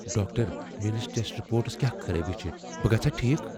Doctor, میٲنس test reports كیاہ خرٲبی چھِ ؟بہٕ گژھا ٹھیكھ ؟